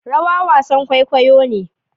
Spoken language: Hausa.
rawa wasan kwaikwayo ne